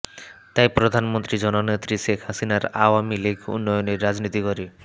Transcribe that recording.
তাই প্রধানমন্ত্রী জননেত্রী শেখ হাসিনার আওয়ামী লীগ উন্নয়নের রাজনীতি করে